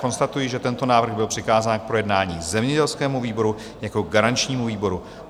Konstatuji, že tento návrh byl přikázán k projednání zemědělskému výboru jako garančnímu výboru.